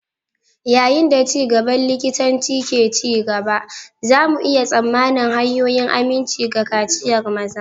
Yayin da ci gaban likitanci ke ci gaba, za mu iya tsammanin hanyoyin aminci ga kaciyar maza.